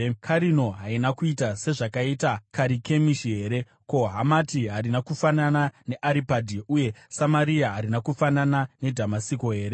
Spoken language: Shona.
Karino harina kuita sezvakaita Karikemishi here? Ko, Hamati harina kufanana neAripadhi, uye Samaria harina kufanana neDhamasiko here?